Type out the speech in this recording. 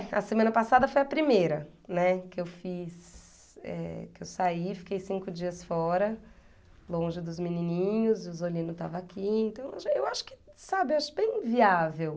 É, a semana passada foi a primeira, né, que eu fiz, eh, que eu saí, fiquei cinco dias fora, longe dos menininhos, o Zolino estava aqui, então eu acho que, sabe, eu acho bem viável.